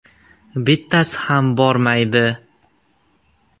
Bittasi ham bormaydi!